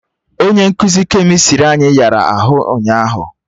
Onye nkụzi kemịstrị anyị yara ahụ ụnyaahụ